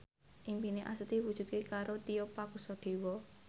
impine Astuti diwujudke karo Tio Pakusadewo